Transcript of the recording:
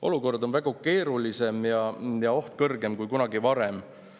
Olukord on palju keerulisem ja oht kõrgem kui kunagi varem.